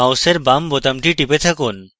মাউসের বাম বোতামটি টিপে থাকুন